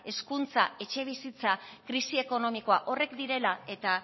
hezkuntza etxebizitza krisi ekonomikoa horiek direla eta